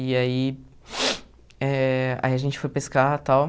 E aí eh... Aí a gente foi pescar e tal.